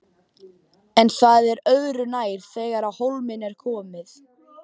En það er öðru nær þegar á hólminn er komið.